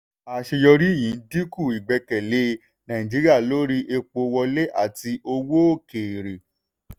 àṣeyọrí yìí dínkù ìgbẹ́kẹ̀lé nàìjíríà lórí epo wọlé àti owó òkèèrè.